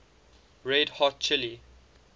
red hot chili